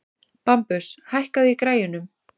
Bambus, hækkaðu í græjunum.